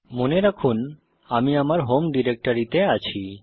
মনে রাখুন যে আমি আমার হোম ডিরেক্টরিতে আছি